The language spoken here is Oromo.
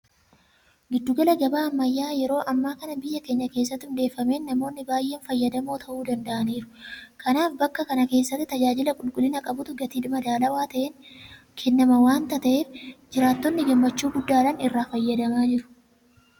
Giddu gala gabaa ammayyaa'aa yeroo ammaa kana biyya keenya keessatti hundeeffameen namoonni baay'een fayyadamoo ta'uu danda'aniiru. Kanaaf bakka kana keessatti tajaajila qulqullina qabutu gatii madaalawaa ta'een kennama waanta ta'eef jiraattonni gammachuu guddaadhaan irraa fayyadamaa jiru.